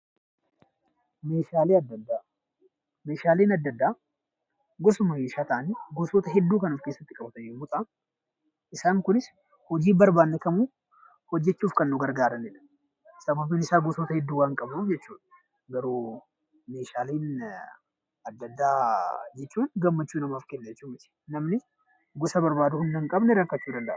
Meeshaaleen adda addaa gosuma meeshaalee ta'anii gosoota hedduu kan of keessatti qabatan yommuu ta'an isaan kunis hojii barbaanne kamuu hojjachuuf kan nu gargaaranidha. Sababiin isaas gosoota hedduu waan qabuuf jechuudha. Garuu meeshaalee adda addaa jechuun gammachuu namaaf kennuu danda'u jechuudha.